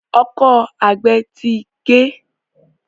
Ọkọ́ àgbè tí gé.